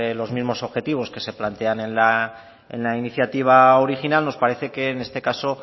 los mismos objetivos que se plantean en la iniciativa original nos parece que en este caso